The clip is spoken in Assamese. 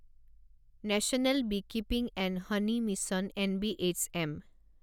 national beekeeping and honey mission N B H M